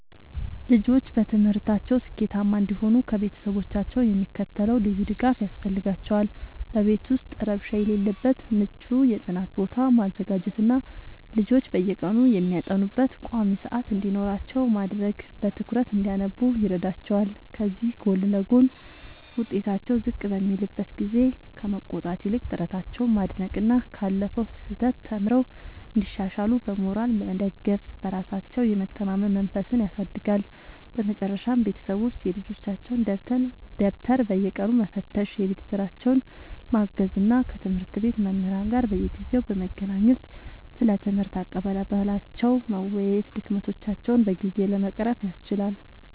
ልጆች በትምህርታቸው ስኬታማ እንዲሆኑ ከቤተሰቦቻቸው የሚከተለው ልዩ ድጋፍ ያስፈልጋቸዋል፦ በቤት ውስጥ ረብሻ የሌለበት ምቹ የጥናት ቦታ ማዘጋጀትና ልጆች በየቀኑ የሚያጠኑበት ቋሚ ሰዓት እንዲኖራቸው ማድረግ በትኩረት እንዲያነቡ ይረዳቸዋል። ከዚህ ጎን ለጎን፣ ውጤታቸው ዝቅ በሚልበት ጊዜ ከመቆጣት ይልቅ ጥረታቸውን ማድነቅና ካለፈው ስህተት ተምረው እንዲሻሻሉ በሞራል መደገፍ በራሳቸው የመተማመን መንፈስን ያሳድጋል። በመጨረሻም ቤተሰቦች የልጆቻቸውን ደብተር በየቀኑ መፈተሽ፣ የቤት ሥራቸውን ማገዝ እና ከትምህርት ቤት መምህራን ጋር በየጊዜው በመገናኘት ስለ ትምህርት አቀባበላቸው መወያየት ድክመቶቻቸውን በጊዜ ለመቅረፍ ያስችላል።